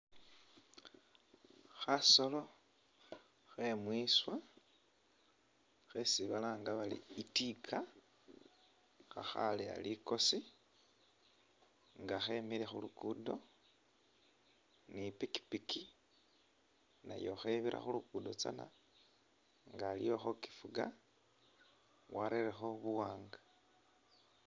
Khasolo khe’mwiswa khesi balanga bari itika khakhaleya likosi nga khemile khulugudo ni pikyipikyi nayo khebira khulugudo tsana nga aliwo khokifuga warerekho buwanga.